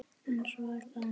En svo er það annað.